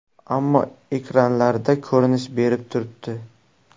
Ammo ekranlarda ko‘rinish berib turibdi.